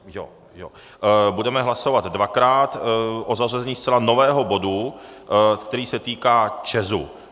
Budeme hlasovat dvakrát o zařazení zcela nového bodu, který se týká ČEZu.